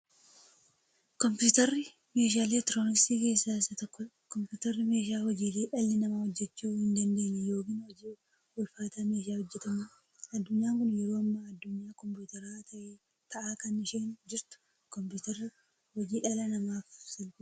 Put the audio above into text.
Kompuutarri meeshaalee elektirooniksii keessaa isa tokkodha. Kompuutarri meeshaa hojiilee dhalli namaa hojjachuu hin daandeenye yookiin hojii ulfaataa meeshaa hojjatamuudha. Addunyaan kun yeroo ammaa addunyaa kompuutaraa ta'aa kan isheen jirtu. Kompuutarri hojii dhala namaaf salphisa.